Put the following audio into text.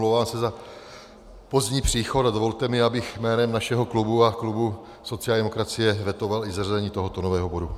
Omlouvám se za pozdní příchod a dovolte mi, abych jménem našeho klubu a klubu sociální demokracie vetoval i zařazení tohoto nového bodu.